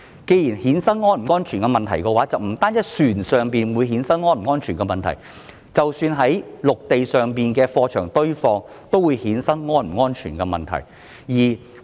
既然如此，那便不單是船上的情況，即使在陸地上例如貨櫃堆場，同樣會衍生安全問題。